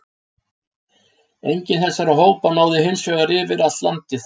Enginn þessara hópa náði hins vegar yfir allt landið.